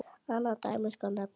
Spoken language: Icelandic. Annað dæmi skal nefna.